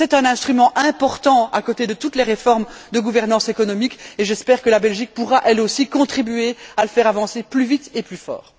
C'est un instrument important à côté de toutes les réformes de gouvernance économique et j'espère que la Belgique pourra, elle aussi, contribuer à le faire avancer plus vite et plus fort.